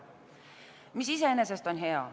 See on iseenesest hea.